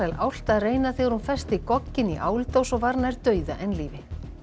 álft að reyna þegar hún festi gogginn í áldós og var nær dauða en lífi